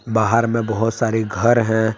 बाहर में बहुत सारे घर हैं।